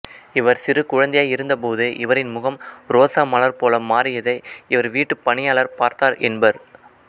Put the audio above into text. இவர் சிறு குழந்தையாய் இருந்தபோது இவரின் முகம் ரோசா மலர் போல மாறியதை இவர் வீட்டுப் பணியாளர் பார்த்தார் என்பர்